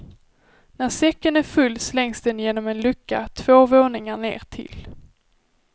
När säcken är full slängs den genom en lucka två våningar ner till.